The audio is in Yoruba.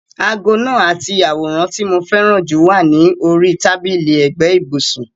Aago náà àti àwòrán tí mo fẹ́ràn jù wà ní orí tábìlì ẹ̀gbẹ́ ibùsùn.